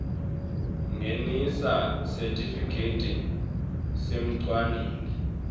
ngenisa sitifiketi semcwaningi